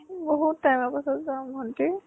বহুত time ৰ পিছত যাম ভণ্টি|